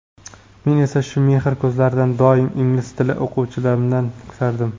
Men esa shu mehr ko‘zlarini doim ingliz tili o‘qituvchimdan kutardim.